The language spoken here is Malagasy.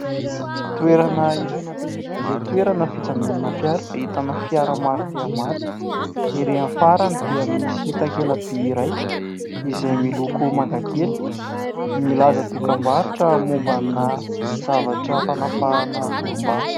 Toerana iray izay toerana fijanonana fiara ahitana fiara maro dia maro, erỳ amin'ny farany dia misy takela-by iray izay miloko mangakely, milaza dokam-barotra momba ana zavatra fanapahana volom-bava.